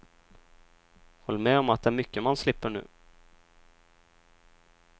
Håll med om att det är mycket man slipper nu.